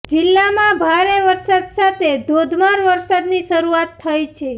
જિલ્લામાં ભારે પવન સાથે ધોધમાર વરસાદની શરૂઆત થઇ છે